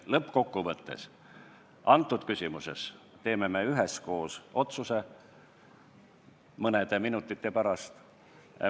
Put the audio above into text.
Lõppkokkuvõttes, antud küsimuses teeme me üheskoos otsuse mõne minuti pärast.